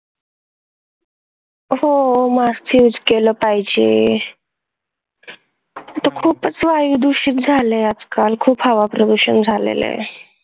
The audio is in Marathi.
हो मास्क use केलं पाहिजे. इथं खूपच वायू दुषित झालय आजकाल, खूपच हवा प्रदूषण झालय.